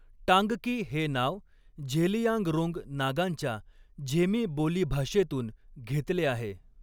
टांगकी' हे नाव झेलियांगरोंग नागांच्या झेमी बोलीभाषेतून घेतले आहे.